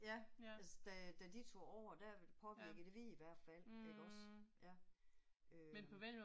Ja altså da da de tog over der påvirkede vi i hvert fald iggås ja øh